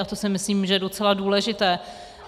A to si myslím, že je docela důležité.